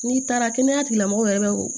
N'i taara kɛnɛya tigilamɔgɔw yɛrɛ